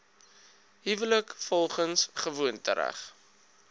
huwelik volgens gewoontereg